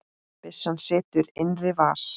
Byssan situr í innri vas